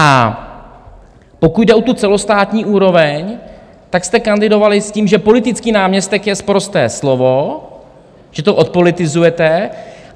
A pokud jde o tu celostátní úroveň, tak jste kandidovali s tím, že politický náměstek je sprosté slovo, že to odpolitizujete.